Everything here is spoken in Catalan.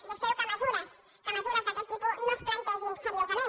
jo espero que mesures mesures d’aquest tipus no es plantegin seriosament